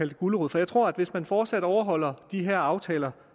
det gulerod for jeg tror at hvis man fortsat overholder de her aftaler